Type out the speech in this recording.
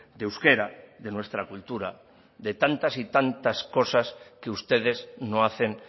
de euskera de nuestra cultura de tantas y tantas cosas que ustedes no hacen